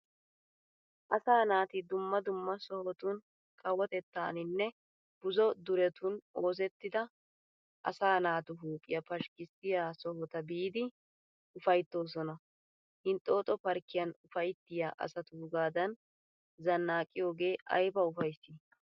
Asaa naati dumma dumma sohotun kawotettaaninne buzo duretun oosettida asaa naatu huuphphiya pashkisiya sohota biidi ufaytoosona. Hinxxoxxo parkiyan ufayttiya asatuugaadan zannaqqiyoogee aybba ufaysii.